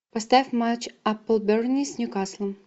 поставь матч апл бернли с ньюкаслом